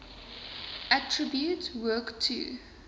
attribute work to